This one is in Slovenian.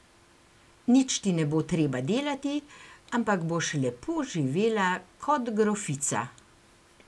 Nič ti ne bo treba delati, ampak boš lepo živela kot grofica.